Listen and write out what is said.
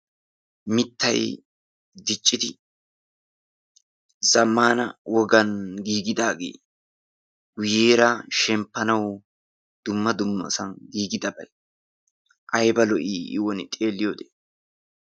miittay diiccidi zaammana wogaan giigidaagee guuyeerra shemmpanawu dumma dummasan giigidabay ayba lo"ii i wooni xeeliyoode!